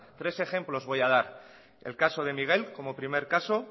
tres ejemplos voy a dar el caso de miguel como primer caso